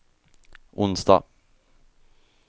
onsdag